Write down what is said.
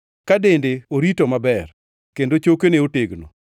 ka dende orito maber, kendo chokene otegno.